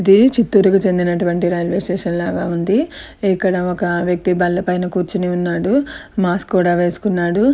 ఇది చిత్తూర్ కి సంబంధిచినటువంటి రైల్వే స్టేషన్ లాగ వుంది ఇక్కడ ఒక వ్యక్తి బల్ల పై కూర్చుని ఉన్నాడు మాస్క్ కూడ వేసుకున్నాడు --